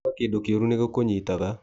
Wauga kĩndũ kĩũru nĩgĩkũnyitaga.